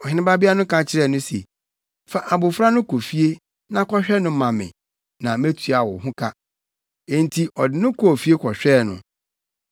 Ɔhene babea no ka kyerɛɛ no se, “Fa abofra no kɔ fie na kɔhwɛ no ma me na metua wo ho ka.” Enti ɔde no kɔɔ fie kɔhwɛɛ no.